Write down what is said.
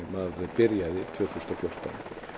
byrjaði tvö þúsund og fjórtán